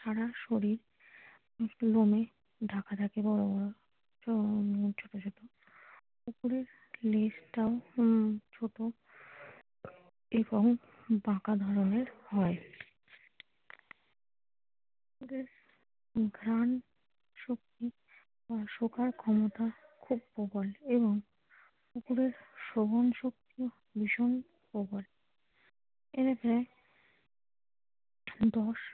কুকুরের ঘ্রাণশক্তি ও শোকার ক্ষমতাও খুব প্রবল এবং কুকুরের শ্রবণ শক্তি ভীষণ প্রবল এরা প্রায় দশ ।